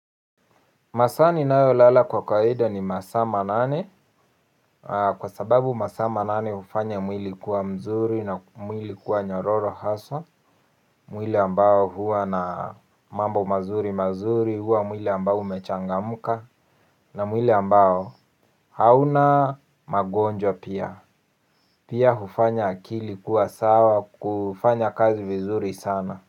Masaa ninayolala kwa kawaida ni masaa manane, kwa sababu masaa manane hufanya mwili kuwa mzuri na mwili kuwa nyororo haswa. Mwili ambao huwa na mambo mazuri mazuri huwa mwili ambao umechangamka. Na mwili ambao hauna magonjwa pia pia hufanya akili kuwa sawa kufanya kazi vizuri sana.